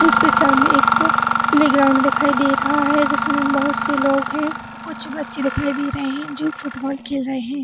इस पिक्चर में एक प्लेग्राउंड दिखाई दे रहा है जिसमे बहुत से लोग है कुछ बच्चे दिखाई दे रहै है जो फुटबॉल खेल रहै है।